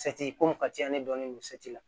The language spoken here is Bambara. ko mun ka ca ne dɔnnen don la